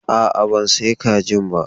A'a, ban sayo kajin ba.